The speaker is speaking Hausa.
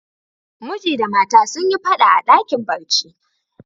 Miji da mata sun yi fada a dakin barci.